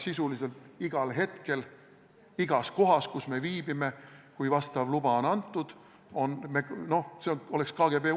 See tähendab seda, et kui vastav luba on antud, teatakse sisuliselt igal hetkel, kus me viibime.